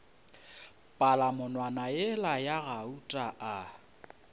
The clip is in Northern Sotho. palamonwana yela ya gauta a